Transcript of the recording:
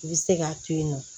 I bɛ se k'a to yen nɔ